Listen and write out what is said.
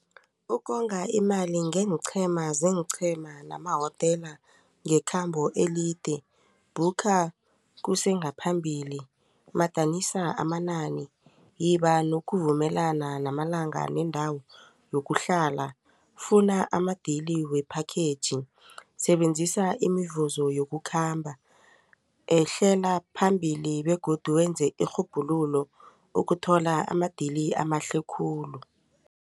Ukonga imali ngeenqhema zeenqhema nama wotela ngekhambo elide bhukha kusengaphambili madanisa amanani yiba nokuvumelana namalanga nendawo yokuhlala funa amadili we-package. Sebenzisa imivuzo yokukhamba ehlela phambili begodu wenze irhubhululo ukuthola amadili amahle khulu.